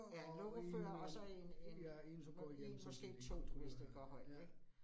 Ja 1 lokofører og så, og så en en én måske 2, hvis det går højt ik